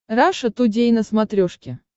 раша тудей на смотрешке